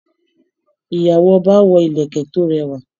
Ìyàwó ọba wọ ìlẹ̀kẹ̀ tó rẹwà.